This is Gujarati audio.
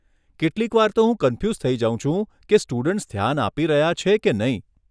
કેટલીકવાર તો હું કન્ફ્યુઝ થઈ જઉ છું કે સ્ટુડન્ટ્સ ધ્યાન આપી રહ્યા છે કે નહીં.